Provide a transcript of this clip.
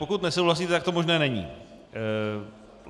Pokud nesouhlasíte, tak to možné není.